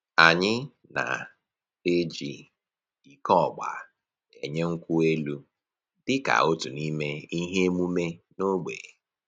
Anyị na-eji iko ọgba enye nkwụ elụ dịka otu n'ime ihe emume n'ogbe